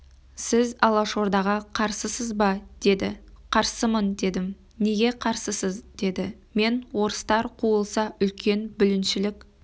сіз алашордаға қарсысыз ба деді қарсымын дедім неге қарсысыз деді мен орыстар қуылса үлкен бүліншілік